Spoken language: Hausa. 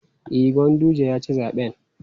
E, Ganguje ya ci zaɓen.